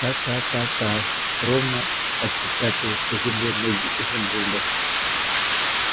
та-та-та-та ровно отпечатывают по земле ноги изумруда